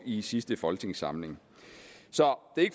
i sidste folketingssamling